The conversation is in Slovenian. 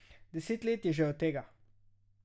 Deset let je že od tega.